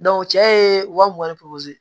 cɛ ye wa mugan ni